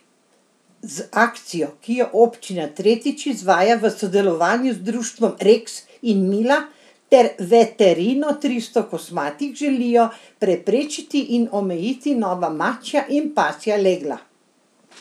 Z akcijo, ki jo občina tretjič izvaja v sodelovanju z Društvom Reks in Mila ter Veterino Tristokosmatih, želijo preprečiti in omejiti nova mačja in pasja legla.